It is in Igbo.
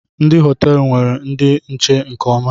Ndị họteelu nwere ndi nche nke ọma